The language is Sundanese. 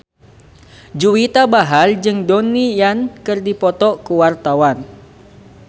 Juwita Bahar jeung Donnie Yan keur dipoto ku wartawan